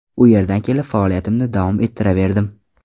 U yerdan kelib, faoliyatimni davom ettiraverdim.